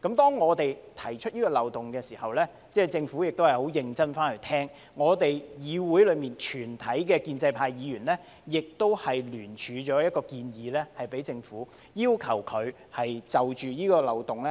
當我們指出這個漏洞時，政府認真聆聽，議會內全體建制派議員也聯署一項建議給政府，要求當局就此漏洞